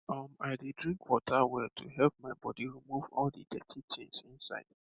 um i dey drink water well to help my body remove all the dirty things inside